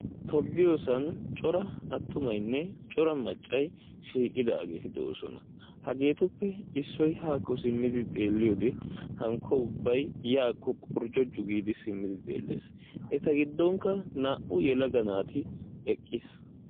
Tobbiyoosan cora attumaynne cora maccay shiiqidaageeti de'ees. Hagetuppe issoy haakko simmidi xeelliyoode hinkko ubbay yaako qorjjoiu giidi xeellees. eta giddonkka naa''u yelaga naati eqqiis.